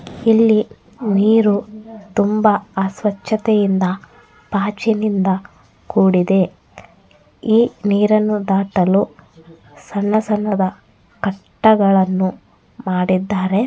ಇಲ್ಲಿ ನೀರು ತುಂಬಾ ಅಸ್ವಚ್ಚತೆಯಿಂದ ಪಾಚಿನಿಂದ ಕೂಡಿದೆ. ಈ ನೀರನ್ನು ದಾಟಲು ಸಣ್ಣ ಸಣ್ಣದ ಕಟ್ಟೆಗಳನ್ನು ಮಾಡಿದ್ದಾರೆ.